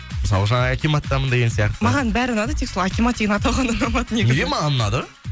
мысалы жаңағы акиматтамын деген сияқты маған бәрі ұнады тек сол акимат деген атау ғана ұнамады негізі неге маған ұнады